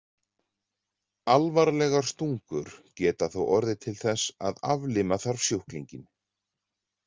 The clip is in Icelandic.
Alvarlegar stungur geta þó orðið til þess að aflima þarf sjúklinginn.